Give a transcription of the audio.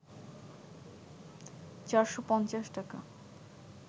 ৪৫০ টাকা